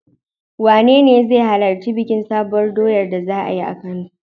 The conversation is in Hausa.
Wanene zai halarci bikin Sabuwar doyar da za a yi a Kano?